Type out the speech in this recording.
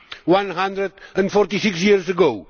One hundred and forty six years ago